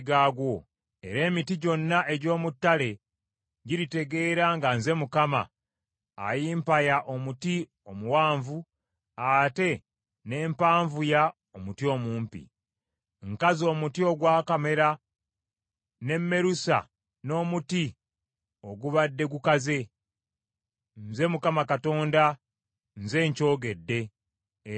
Era emiti gyonna egy’omu ttale giritegeera nga nze Mukama ayimpaya omuti omuwanvu, ate ne mpanvuya omuti omumpi. Nkaza omuti ogwakamera, ne mmerusa n’omuti ogubadde gukaze. “ ‘Nze Mukama Katonda nze nkyogedde, era ndikikola.’ ”